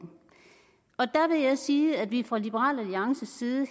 og der vil jeg sige at vi fra liberal alliances side